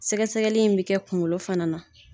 Sɛgɛ sɛgɛli in bi kɛ kunkolo fana na.